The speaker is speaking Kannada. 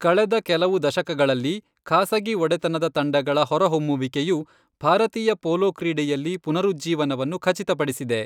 ಕಳೆದ ಕೆಲವು ದಶಕಗಳಲ್ಲಿ, ಖಾಸಗಿ ಒಡೆತನದ ತಂಡಗಳ ಹೊರಹೊಮ್ಮುವಿಕೆಯು ಭಾರತೀಯ ಪೋಲೋ ಕ್ರೀಡೆಯಲ್ಲಿ ಪುನರುಜ್ಜೀವನವನ್ನು ಖಚಿತಪಡಿಸಿದೆ.